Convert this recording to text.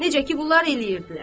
Necə ki, bunlar eləyirdilər.